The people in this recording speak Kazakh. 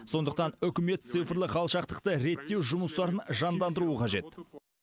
сондықтан үкімет цифрлық алшақтықты реттеу жұмыстарын жандандыруы қажет